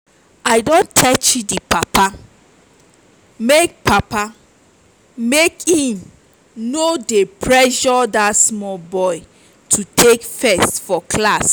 i don tell chidi papa make papa make im no dey pressure dat small boy to take first for class